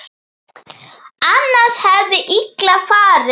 Annars hefði illa farið.